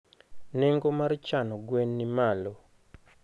nengo mar chano gwen nimalo.